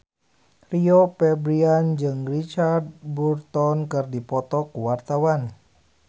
Rio Febrian jeung Richard Burton keur dipoto ku wartawan